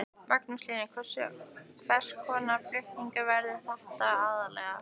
Magnús Hlynur: Hvers konar flutningar verða þetta aðallega?